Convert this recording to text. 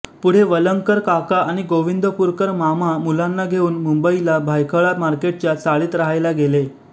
पुढे वलंगकर काका व गोविंदपुरकर मामा मुलांना घेऊन मुंबईला भायखळा मार्केटच्या चाळीत रहायला गेले